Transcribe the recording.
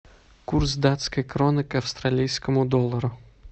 курс датской кроны к австралийскому доллару